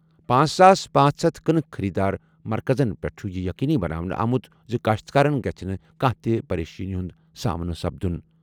پانژھ ساس پانژہ ہتھَ کٕنٕک خٔریٖدٲری مرکزَن پٮ۪ٹھ چھُ یہِ یٔقیٖنی بناونہٕ آمُت زِ کٔاشتکارن گژھِ نہٕ کانٛہہ تہِ پریشٲنی ہُنٛد سامنہٕ۔